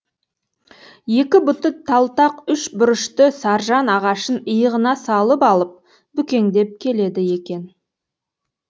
екі бұты талтақ үш бұрышты саржан ағашын иығына салып алып бүкеңдеп келеді екен